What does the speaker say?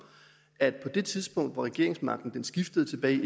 at på det tidspunkt hvor regeringsmagten skiftede tilbage i